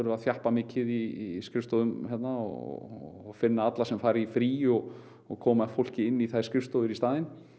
að þjappa mikið í skrifstofum og finna alla sem fara í frí og og koma fólki inn í þær skrifstofur í staðinn